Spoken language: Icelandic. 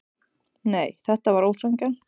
Nei, þetta var ósanngjarnt.